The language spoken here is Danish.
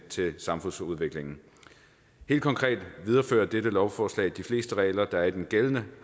til samfundsudviklingen helt konkret viderefører dette lovforslag de fleste regler der er i den gældende